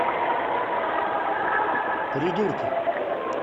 придурки